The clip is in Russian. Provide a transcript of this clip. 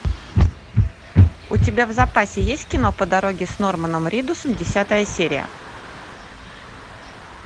у тебя в запасе есть кино по дороге с норманом ридусом десятая серия